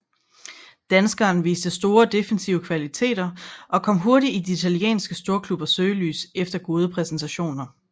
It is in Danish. Danskeren viste store defensive kvaliteter og kom hurtigt i de italienske storklubbers søgelys efter flere gode præstationer